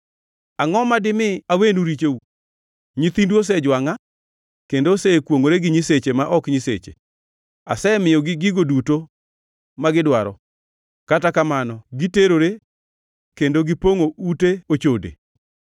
Angʼo ma dimi awenu richou? Nyithindu osejwangʼa, kendo osekwongʼore gi nyiseche ma ok nyiseche. Asemiyogi gigo duto magidwaro, kata kamano giterore kendo gipongʼo ute ochode.